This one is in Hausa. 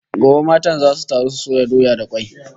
Gobe matan zasu taru su soya doya da kwai